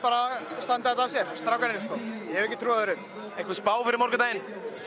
standa þetta sér strákarnir ég hef ekki trú á öðru einhver spá fyrir morgundaginn